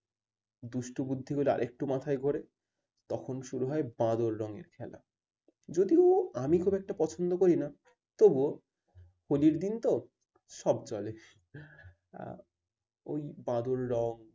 দুষ্টু বুদ্ধি গুলো আর একটু মাথায় ঘোরে তখন শুরু হয় বাঁদর রঙের খেলা। যদিও আমি খুব একটা পছন্দ করি না তবুও হলি র দিন তো সব চলে। আহ ওই বাঁদর রঙ